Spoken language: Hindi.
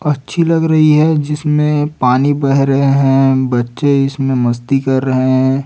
अच्छी लग रही है जिसमें पानी बह रहे हैं बच्चे इसमें मस्ती कर रहे हैं।